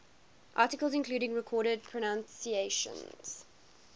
articles including recorded pronunciations